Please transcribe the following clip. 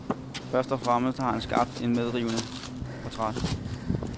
Først og fremmest har han skabt et medrivende portræt.